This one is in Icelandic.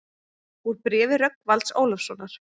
Úr bréfi Rögnvalds Ólafssonar